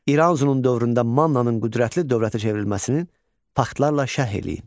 İranzunun dövründə Mannanın qüdrətli dövlətə çevrilməsinin faktlarla şərh eləyin.